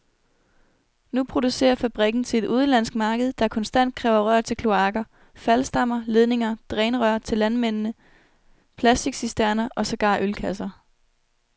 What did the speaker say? Nu producerer fabrikken til et udenlandsk marked, der konstant kræver rør til kloaker, faldstammer, ledninger, drænrør til landmændene, plasticcisterner og sågar ølkasser.